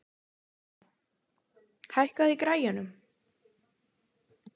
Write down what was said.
Hella, lækkaðu í græjunum.